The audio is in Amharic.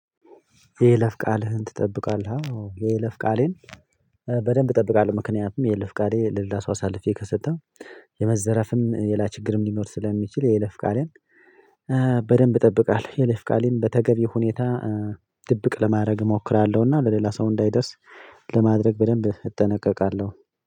የይለፍ ቃልህን ትጠብቃለህ? የይለፍ ቃሌን በደንብ እጠብቃለሁ ምክንያቱም የይለፍ ቃሌ ለሌላ ሰው አሳልፌ ከሰጠሁ የመዘረፍም ሌላ ችግርም ሊኖር ስለሚችል የይለፍ ቃሌን በደንብ እጠብቃለሁ የይለፍ ቃሌን በተገቢ ሁኔታ ድብቅ ለማድረግ እሞክራለሁና ለሌላ ሰው እንዳይደርስ ለማድረግ በደንብ እጠነቀቃለሁ